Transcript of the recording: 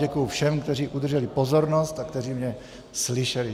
Děkuji všem, kteří udrželi pozornost a kteří mě slyšeli.